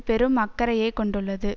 பெரும் அக்கறையை கொண்டுள்ளது